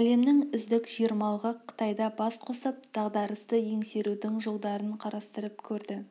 әлемнің үздік жиырмалығы қытайда бас қосып дағдарысты еңсерудің жолдарын қарастырып көрді